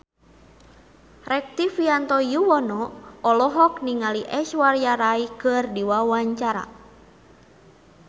Rektivianto Yoewono olohok ningali Aishwarya Rai keur diwawancara